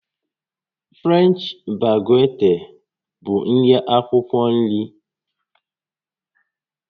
French baguette bụ nri akwukwo nri